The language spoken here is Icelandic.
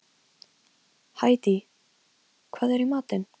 Hædý, hvað er í matinn?